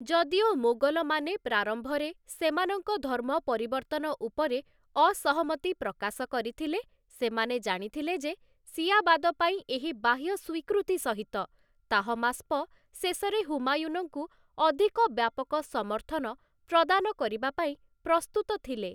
ଯଦିଓ ମୋଗଲମାନେ ପ୍ରାରମ୍ଭରେ ସେମାନଙ୍କ ଧର୍ମ ପରିବର୍ତ୍ତନ ଉପରେ ଅସହମତି ପ୍ରକାଶ କରିଥିଲେ, ସେମାନେ ଜାଣିଥିଲେ ଯେ ଶିଆବାଦପାଇଁ ଏହି ବାହ୍ୟ ସ୍ୱୀକୃତି ସହିତ ତାହମାସ୍ପ ଶେଷରେ ହୁମାୟୁନଙ୍କୁ ଅଧିକ ବ୍ୟାପକ ସମର୍ଥନ ପ୍ରଦାନ କରିବାପାଇଁ ପ୍ରସ୍ତୁତ ଥିଲେ ।